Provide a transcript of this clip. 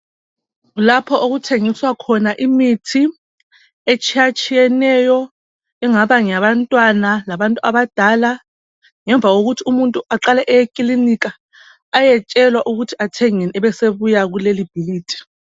Lapho okuthengiswa khona imithi etshiyatshiyeneyo engaba ngeyabantwana labantu abadala ngemva kokuthi umuntu aqala eye ekilinika ayatshelwa ukuthi athengeni abe esebuya kulelibhilidi.